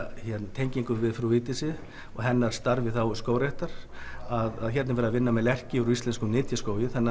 tengingu við frú Vigdísi og hennar starf í þágu skógræktar hér er verið að vinna með lerki úr íslenskum nytjaskógi